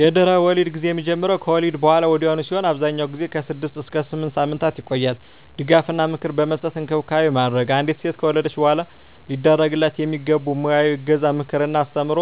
የድህረ-ወሊድ ጊዜ የሚጀምረው ከወሊድ በሃላ ወዲያውኑ ሲሆን አብዛኛውን ጊዜ ከ6 እስከ 8 ሳምንታት ይቆያል ድጋፍ እና ምክር በመስጠት እንክብካቤ ማድረግ። አንዲት ሴት ከወለደች በሃላ ሊደረግላት የሚገቡ ሙያዊ እገዛ ምክር እና አስተምሮ